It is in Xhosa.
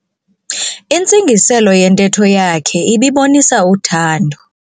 Intsingiselo yentetho yakhe ibibonisa uthando.